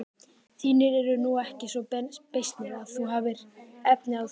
Þínir eru nú ekki svo beysnir að þú hafir efni á því.